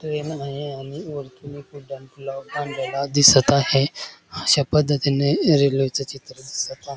Train आहे आणि वरतून एक उड्डाण पूल बांधलेला दिसत आहे अशा पद्धतीने रेल्वेच चित्र दिसत आहे.